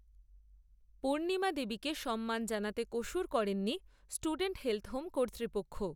পূর্ণিমা দেবীকে সম্মান জানাতে কসুর করেননি, স্টুডেন্টস হেলথ হোম কর্তৃপক্ষ